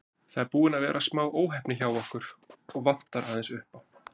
Það er búin að vera smá óheppni hjá okkur og vantar aðeins upp á.